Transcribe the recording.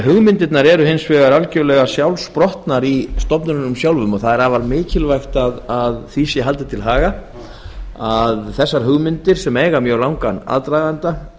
hugmyndirnar eru hins vegar algjörlega sjálfsprottnar í stofnunum sjálfum það er afar mikilvægt að því sé haldið til haga að þessar hugmyndir sem eiga sér mjög langan aðdraganda